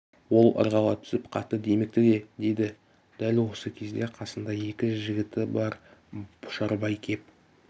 ол ырғала түсіп қатты демікті де деді дәл осы кезде қасында екі жігіті бар пұшарбай кеп